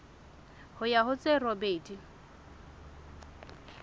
ho ya ho tse robedi